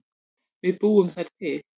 Við búum þær til